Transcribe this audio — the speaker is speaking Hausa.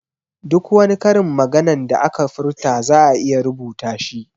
Duk wani karin maganan da aka furta za'a iya rubuta shi